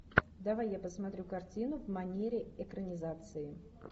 давай я посмотрю картину в манере экранизации